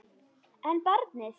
En barnið?